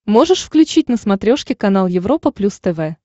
можешь включить на смотрешке канал европа плюс тв